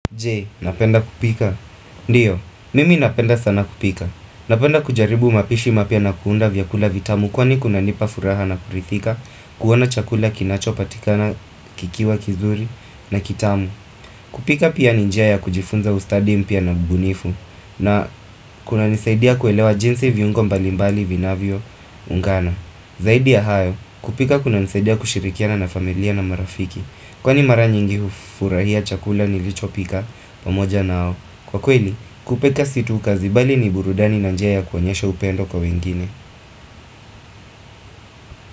Jee, unapenda kupika? Ndiyo, mimi napenda sana kupika. Napenda kujaribu mapishi mapya na kuunda vyakula vitamu kwani kunanipa furaha na kurithika kuona chakula kinacho patikana kikiwa kizuri na kitamu. Kupika pia ni njia ya kujifunza ustadi mpya na mbunifu na kunanisaidia kuelewa jinsi viungo mbalimbali vinavyo ungana. Zaidi ya hayo, kupika kuna nisaidia kushirikiana na familia na marafiki kwani mara nyingi hufurahia chakula nilicho pika pamoja nao Kwa kweli, kupika si tu kazi bali ni burudani na njia ya kuonyesha upendo kwa wengine.